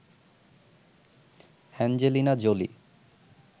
Angelina Jolie